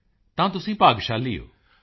ਮੋਦੀ ਜੀ ਤਾਂ ਤੁਸੀਂ ਭਾਗਸ਼ਾਲੀ ਹੋ